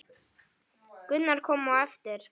Gunnar kom á eftir.